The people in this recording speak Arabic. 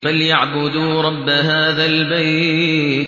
فَلْيَعْبُدُوا رَبَّ هَٰذَا الْبَيْتِ